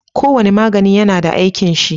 Kowane magani yAna da aikin shi